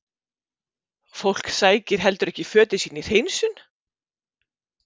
Fólk sækir heldur ekki fötin sín í hreinsun?